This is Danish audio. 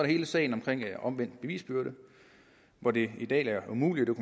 hele sagen omkring omvendt bevisbyrde hvor det i dag er umuligt at